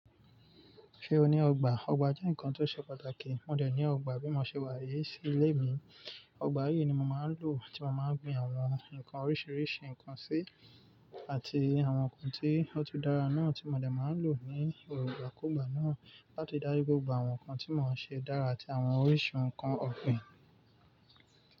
Ṣé o ní ọgbà? Ọgbà jẹ́ nǹkan tó ṣe pàtàkì. Mo dẹ̀ ní ọgbà bí mo ṣe wá yí sí ilé mi. Ọgbà yìí ni mo máa ń lò tí mo máa ń gbin àwọn ǹkan oríṣiríṣi ǹkan sí àti àwọn ǹkan tí ó ti dára náà tí mo dẹ̀ máa ń lò ní ọ̀rọ̀ gbàkúgba náà láti dárí gbogbo àwọn ǹkan tí mò ń ṣe dára àti àwọn oríṣi ǹkan ọ̀gbìn.